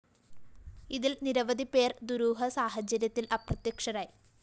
ഇതില്‍ നിരവധിപേര്‍ ദുരൂഹ സാഹചര്യത്തില്‍ അപ്രത്യക്ഷരായി